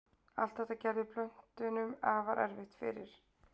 Allt þetta gerði plöntunum afar erfitt fyrir.